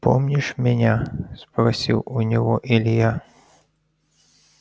помнишь меня спросил у него илья